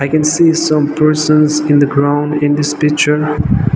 we can see some persons in the ground in this picture.